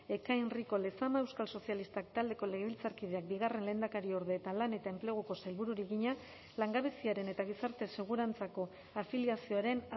ekain rico lezama euskal sozialistak taldeko legebiltzarkideak bigarren lehendakariorde eta lan eta enpleguko sailburuari egina langabeziaren eta gizarte segurantzako afiliazioaren